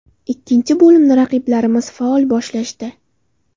Ikkinchi bo‘limni raqiblarimiz faol boshlashdi.